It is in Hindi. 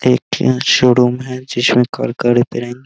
एक यहां शोरूम है जिसमे --